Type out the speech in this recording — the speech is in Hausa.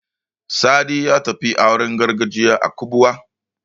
Sadi ya tafi auren gargajiya a Kubuwa.